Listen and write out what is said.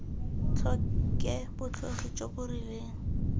tlhoke bokgoni jo bo rileng